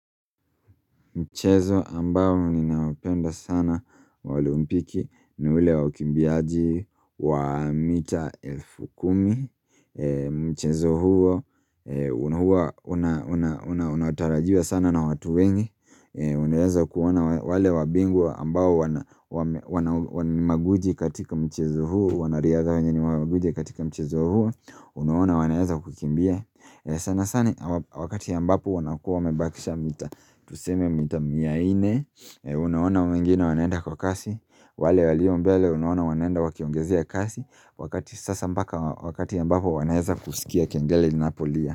Mchezo ambao ninaupenda sana wa olempiki ni ule wa ukimbiaji wa mita elfu kumi Mchezo huo unahua unatarajiwa sana na watu wengi Unaeza kuona wale wabingwa ambao ni magwiji katika mchezo huo wanariadha wengine ni maguiji katika mchezo huo Unaona wanaeza kukimbia sana sana wakati ambapo wanakua wamebakisha mita Tuseme mita mia nne, unawaona wengine wanaenda kwa kasi wale walio mbele unawona wanaenda wakiongezea kasi Wakati sasa mbaka wakati mbapo wanaeza kusikia kengele iNapolia.